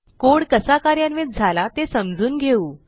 code कसा कार्यान्वित झाला ते समजून घेऊ